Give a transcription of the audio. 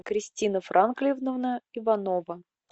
кристина франклиевна иванова